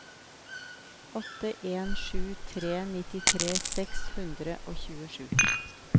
åtte en sju tre nittitre seks hundre og tjuesju